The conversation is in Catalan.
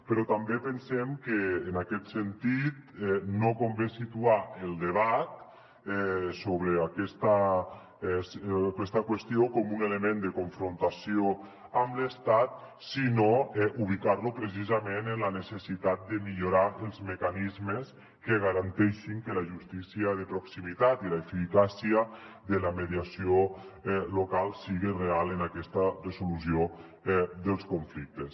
però també pensem que en aquest sentit no convé situar el debat sobre aquesta qüestió com un element de confrontació amb l’estat sinó ubicar lo precisament en la necessitat de millorar els mecanismes que garanteixin que la justícia de proximitat i l’eficàcia de la mediació local siguin reals en aquesta resolució dels conflictes